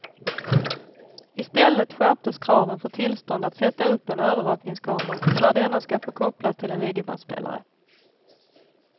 I stället skärptes kraven för tillstånd att sätta upp en övervakningskamera och när denna ska få kopplas till en videobandspelare.